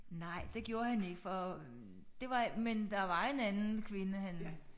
Nej det gjorde han ikke for det var men der var en anden kvinde han